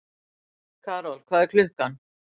Karol, hvað er klukkan?